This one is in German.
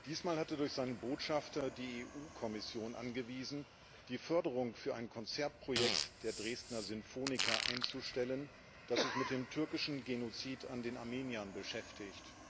Diesmal hat er durch seinen Botschafter die EU Kommission angewiesen, die Förderung für ein Konzertprojekt der Dresdner Sinfoniker einzustellen, das sich mit dem türkischen Genozid an den Armeniern beschäftigt.